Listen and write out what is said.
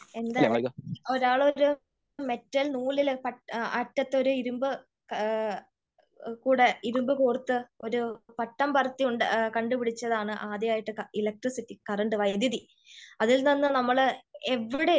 എന്താ ലെ ഒരാള് ഒരു മെറ്റൽ നൂലില് അറ്റത്തോര് ഇരുമ്പ് കൂടെ ഇരുമ്പ് കോർത്ത് പട്ടം പറത്തി കണ്ടുപിടിച്ചതാണ് ആദ്യായിട്ട് ഇലെകട്രിസിറ്റി കറൻറ് വൈദ്യുതി. അതിൽ നിന്ന് നമ്മള് എവിടെ എത്തി